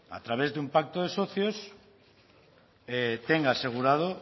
a través de un pacto de socios tenga asegurado